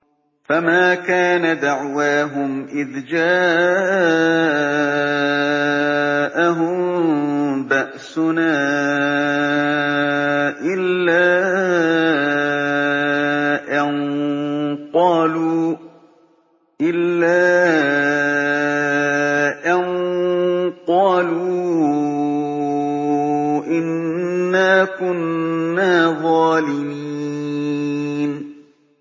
فَمَا كَانَ دَعْوَاهُمْ إِذْ جَاءَهُم بَأْسُنَا إِلَّا أَن قَالُوا إِنَّا كُنَّا ظَالِمِينَ